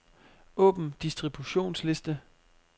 Åbn distributionsliste.